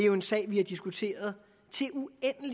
jo en sag vi har diskuteret